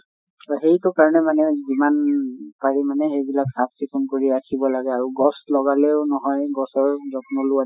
সেইটো কাৰণে মানে যিমান পাৰি মানে সেইবিলাক চাফ চিকুন কৰি ৰাখিব লাগে আৰু গছ লগালেও নহয়, গছৰ যত্ন লোৱাতো